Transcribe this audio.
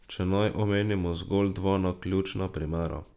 Če naj omenimo zgolj dva naključna primera.